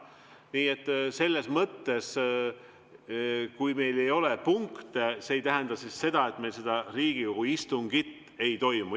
Nii et selles mõttes see, kui meil ei ole punkte, ei tähenda seda, et Riigikogu istungit ei toimu.